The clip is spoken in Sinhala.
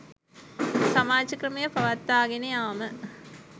සමාජ ක්‍රමය පවත්වාගෙන යාම